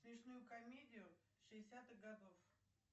смешную комедию шестидесятых годов